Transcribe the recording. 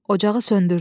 Ocağı söndürdü.